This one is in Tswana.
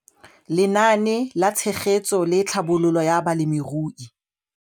Lenaane la Tshegetso le Tlhabololo ya Balemirui